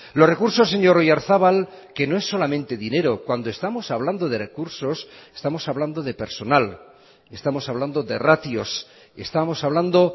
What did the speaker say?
los recursos señor oyarzabal que no es solamente dinero cuando estamos hablando de recursos estamos hablando de personal estamos hablando de ratios estamos hablando